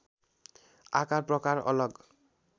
आकार प्रकार अलग